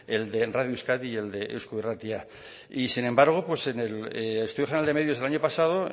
el de radio euskadi y el de eusko irratia y sin embargo en el estudio general de medios el año pasado